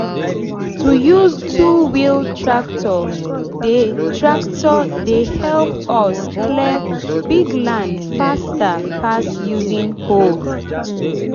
to use two-wheel tractor dey tractor dey help us clear big land faster pass using hoe.